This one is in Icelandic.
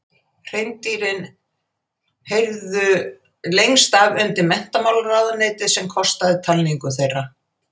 Hreindýrin heyrðu lengst af undir Menntamálaráðuneytið sem kostaði talningu þeirra.